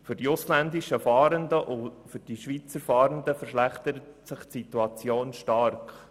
Für die ausländischen und die Schweizer Fahrenden verschlechtert sich die Situation stark.